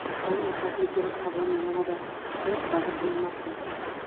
Oy o‘rtasiga kelib havoning yanada isishi va’da qilinmoqda.